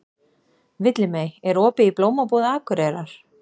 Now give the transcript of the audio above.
Villimey, er opið í Blómabúð Akureyrar?